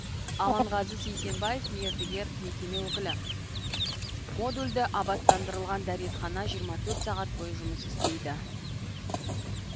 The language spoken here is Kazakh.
аманғазы сейсенбаев мердігер мекеме өкілі модульді абаттандырылған дәретхана жиырма төрт сағат бойы жұмыс істейді